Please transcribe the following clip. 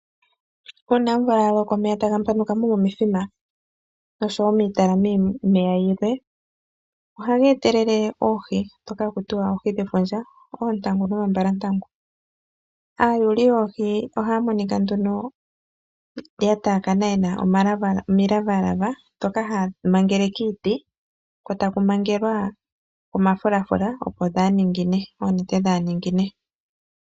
Uuna omvula yaloko omeya eta gapanukamo momithima nosho wo miitalalamo yomeya yilwe ohageetelele oohi dhoka hakutiwa oohi dhefudja, oontangu noombalantangu. Aayuli yoohi ohaya monika nduno yataakana yena omilavalava ndhoka haya mangele kiiti ko taku mangelwa omafulafula opo dhaaningine, oonete dhaaningine.